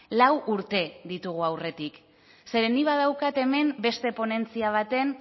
lau urte ditugu aurretik zeren nik badaukat hemen beste ponentzia baten